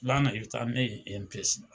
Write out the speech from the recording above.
I ban ka , i bi taa ni ne ye